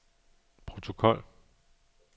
protokol